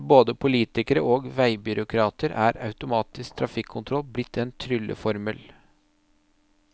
For både politikere og veibyråkrater er automatisk trafikkontroll blitt en trylleformel.